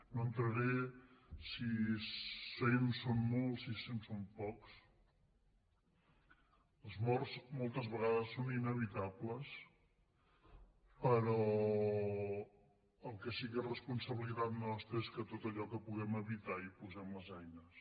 no entraré si cent són molts si cent són pocs les morts moltes vegades són inevitables però el que sí que és responsabilitat nostra és que en tot allò que puguem evitar hi posem les eines